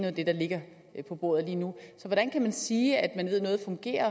af det der ligger på bordet lige nu så hvordan kan man sige at man ved at noget fungerer